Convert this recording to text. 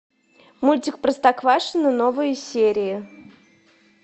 мультик простоквашино новые серии